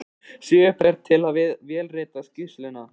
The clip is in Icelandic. Sigurbjörn til við að vélrita skýrsluna.